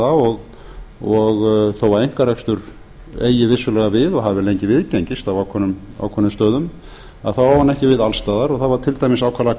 ræða og þó að einkarekstur eigi vissulega við og hafi lengi viðgengist á ákveðnum stöðum á hann ekki við alls staðar og það var til dæmis ákaflega